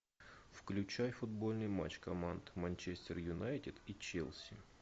включай футбольный матч команд манчестер юнайтед и челси